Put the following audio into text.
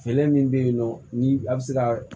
Fɛɛrɛ min bɛ yen nɔ ni a bɛ se ka